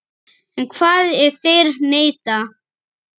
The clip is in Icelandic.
En hvað ef þeir neita?